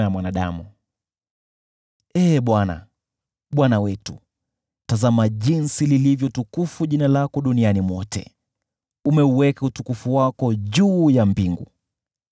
Ee Bwana , Bwana wetu, tazama jinsi lilivyo tukufu jina lako duniani mwote! Umeuweka utukufu wako juu ya mbingu.